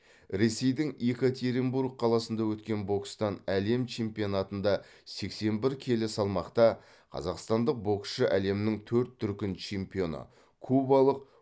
ресейдің екатеринбург қаласында өткен бокстан әлем чемпионатында сексен бір келі салмақта қазақстандық боксшы әлемнің төрт дүркін чемпионы кубалық